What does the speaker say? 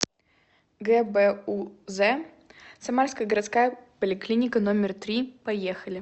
гбуз самарская городская поликлиника номер три поехали